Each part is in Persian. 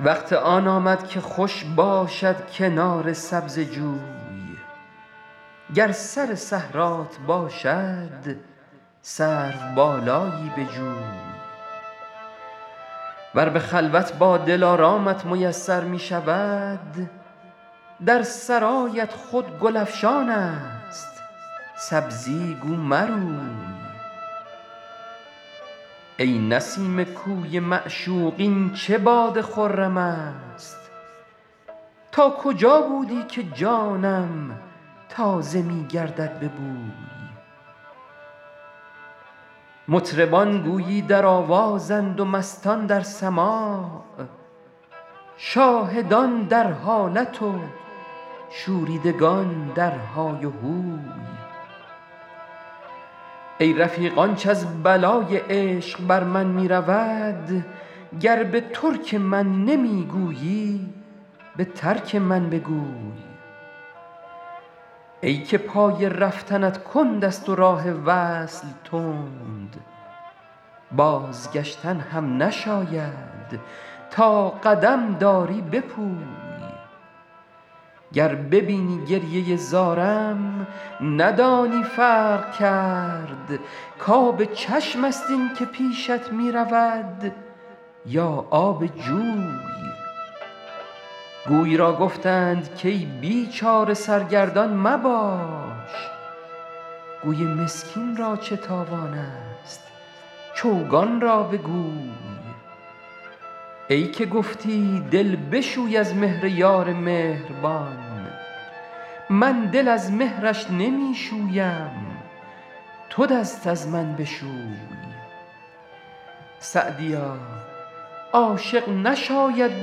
وقت آن آمد که خوش باشد کنار سبزه جوی گر سر صحرات باشد سروبالایی بجوی ور به خلوت با دلارامت میسر می شود در سرایت خود گل افشان است سبزی گو مروی ای نسیم کوی معشوق این چه باد خرم است تا کجا بودی که جانم تازه می گردد به بوی مطربان گویی در آوازند و مستان در سماع شاهدان در حالت و شوریدگان در های و هوی ای رفیق آنچ از بلای عشق بر من می رود گر به ترک من نمی گویی به ترک من بگوی ای که پای رفتنت کند است و راه وصل تند بازگشتن هم نشاید تا قدم داری بپوی گر ببینی گریه زارم ندانی فرق کرد کآب چشم است این که پیشت می رود یا آب جوی گوی را گفتند کای بیچاره سرگردان مباش گوی مسکین را چه تاوان است چوگان را بگوی ای که گفتی دل بشوی از مهر یار مهربان من دل از مهرش نمی شویم تو دست از من بشوی سعدیا عاشق نشاید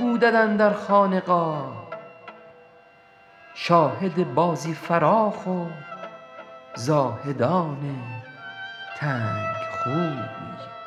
بودن اندر خانقاه شاهد بازی فراخ و زاهدان تنگ خوی